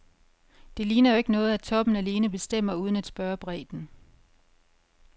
Det ligner jo ikke noget, at toppen alene bestemmer uden at spørge bredden.